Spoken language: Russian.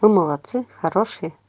вы молодцы хорошие